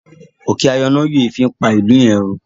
òkè ayọnáyèéfín pá ilú yén rún.